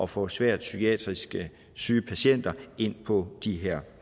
få svært psykiatrisk syge patienter ind på de her